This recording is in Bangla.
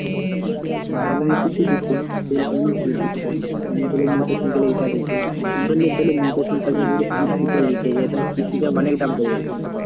মামাও কিছু দিচ্ছে সে অনেক help করছে। মামা ধরেনে মোটর সাইকেলের এটা দিচ্ছে। ধরলে ধরলে মোটর সাইকেলটা যদি কিস্তিতে নিতে যাই তাহলে কিস্তিতে অনেক দাম পরে যাবে তো।